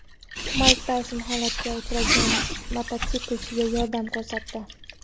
Mayk Tayson halokatga uchragan mototsiklchiga yordam ko‘rsatdi.